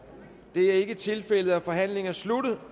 det er ikke tilfældet og forhandlingen er sluttet